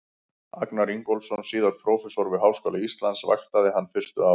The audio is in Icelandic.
Agnar Ingólfsson, síðar prófessor við Háskóla Íslands, vaktaði hann fyrstu árin.